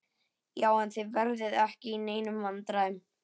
Já, en þið verðið ekki í neinum vandræðum.